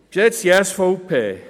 Geschätzte SVP: